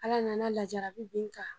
Ala nana lajarabi bin n kan